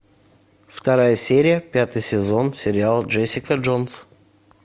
вторая серия пятый сезон сериал джесика джонс